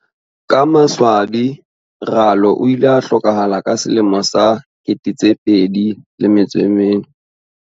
Ka maswabi Ralo o ile a hlokahala ka 2004.